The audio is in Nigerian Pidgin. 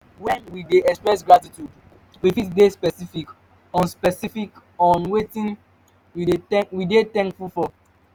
when we dey express gratitude we fit de specific on specific on wetin we de thankful for